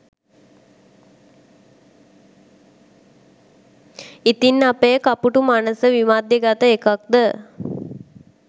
ඉතින් අපේ කපුටු මනස විමධ්‍යගත එකක්ද